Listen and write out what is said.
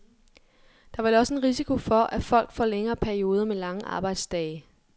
Der er vel også en risiko for, at folk får længere perioder med lange arbejdsdage.